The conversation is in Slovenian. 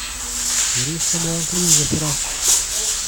Je res samo on kriv za poraz?